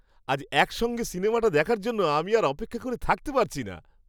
আজ একসঙ্গে সিনেমাটা দেখার জন্য আমি আর অপেক্ষা করে থাকতে পারছি না!